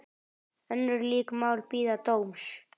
Önnur lík mál bíða dóms.